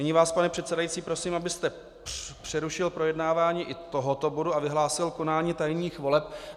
Nyní vás, pane předsedající, prosím, abyste přerušil projednávání i tohoto bodu a vyhlásil konání tajných voleb.